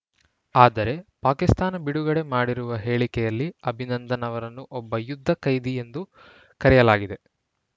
ಆದರೆ ಪಾಕಿಸ್ತಾನ ಬಿಡುಗಡೆ ಮಾಡಿರುವ ಹೇಳಿಕೆಯಲ್ಲಿ ಅಭಿನಂದನ್‌ ಅವರನ್ನು ಒಬ್ಬ ಯುದ್ಧ ಕೈದಿ ಎಂದು ಕರೆಯಲಾಗಿದೆ